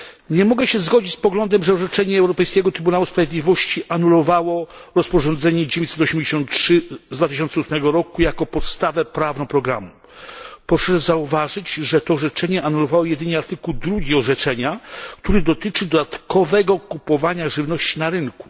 Nie mogę się zgodzić z poglądem, że orzeczenie Europejskiego Trybunału Sprawiedliwości anulowało rozporządzenie 983 z 2008 roku jako podstawę prawną programu. Proszę zauważyć, że to orzeczenie anulowało jedynie artykuł 2 orzeczenia, który dotyczy dodatkowego kupowania żywności na rynku.